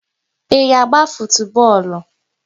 Ị na-agba futubọọlụ?